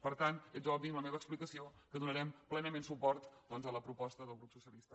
per tant és obvi amb la meva explicació que donarem plenament suport doncs a la proposta del grup socia lista